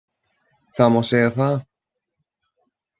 Það má segja það